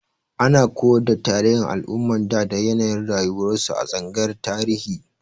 Ana koyar da tarihin al'umman da da yanayin rayuwarsu a tsangayar Tarihi.